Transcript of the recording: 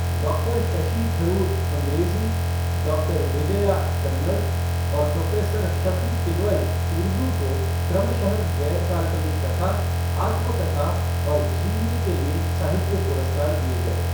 Doctor Shashi Tharoor अंग्रेजी, doctor Vijaya Kannada और professor Shafi Kidwai Urdu को क्रमशः गैर काल्पनिक कथा, आत्मकथा और जीवनी के लिए साहित्य पुरस्कार दिये गये।